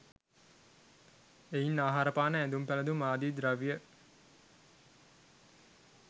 එයින් ආහාරපාන, ඇඳුම් පැළඳුම් ආදී ද්‍රව්‍ය